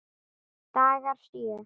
Dagar sjö